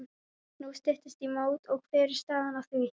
Nú styttist í mót og hver er staðan á því?